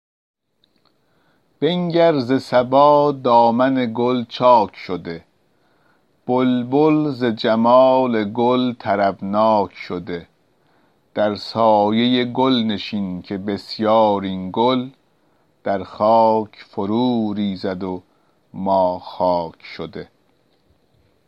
بنگر ز صبا دامن گل چاک شده بلبل ز جمال گل طربناک شده در سایه گل نشین که بسیار این گل در خاک فرو ریزد و ما خاک شده